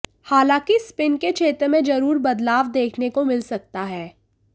हालांकि स्पिन के क्षेत्र में जरूर बदलाव देखने को मिल सकता है